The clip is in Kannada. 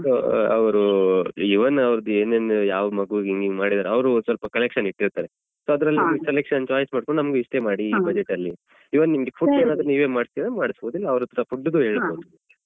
ಅವರು even ಅವ್ರದ್ದು ಏನೇನ್ ಯಾವ ಮಗುವಿಗೆ ಏನೇನು ಮಾಡಿದ್ದಾರೆ ಅವ್ರು ಸ್ವಲ್ಪ collection ಇಟ್ಟಿರ್ತಾರೆ so ಅದ್ರಲ್ಲಿ ನಿಮ್ಗೆ selection choice ಮಾಡ್ಕೊಂಡು ನಮಗೆ ಇಷ್ಟೇ ಮಾಡಿ ಈ budget ಅಲ್ಲಿ even ನಿಮ್ಗೆ food ಏನಾದ್ರೂ ನೀವೇ ಮಾಡಿಸ್ತೀರಾದ್ರೆ ಮಾಡ್ಬೋದು ಇಲ್ಲ ಅವ್ರ ಹತ್ರ food ಗು ಹೇಳ್ಬೋದು.